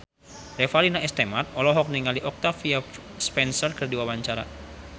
Revalina S. Temat olohok ningali Octavia Spencer keur diwawancara